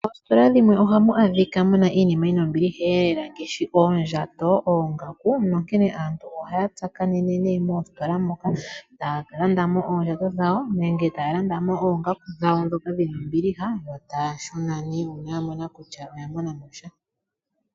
Moostola dhimwe ohamu adhika muna iinima yina ombilihelela ngashi oondjato, oongaku. Nonkene aantu ohaya tsakanene mostola moka etaya landamo oondjato dhawo nenge taya landamo oongaku dhawo dhoka dhina ombiliha yo taya shuna ne una yamona kutya oya mona mosha.